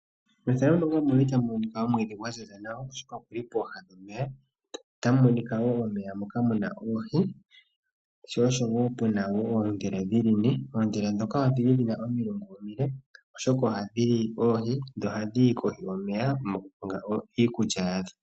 Omwiidhi gwaziza nawa guli pooha dhomeya moka muna oohi sho oshowo puna woo oondhila dhili ne oondhila ndhoka dhili dhina omilungu omile oshoka ohadhi li oohi dho ohadhi yi kohi yomeya mokukonga iikulya yadho.